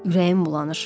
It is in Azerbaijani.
Ürəyim bulanır.